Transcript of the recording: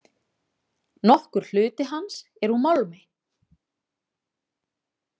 Nokkur hluti hans er úr málmi.